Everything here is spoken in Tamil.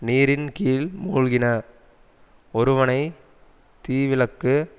நீரின் கீழ் மூழ்கின ஒருவனை தீவிளக்கு